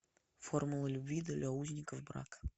формула любви для узников брака